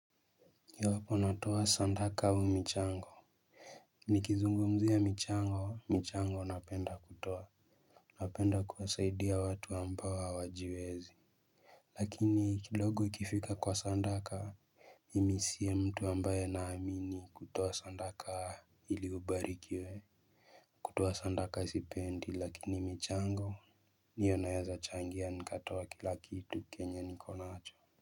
Iwapo natoa sadaka au michango nikizungumzia michango michango napenda kutoa. Napenda kuwasaidia watu ambao hawajiwezi. Lakini kidogo ikifika kwa sadaka mimi siyo mtu ambaye naamini kutoa sadaka ili ubarikiwe. Kutoa sadaka sipendi lakini michango hiyo naezachangia nikatoa kila kitu kenye niko nacho.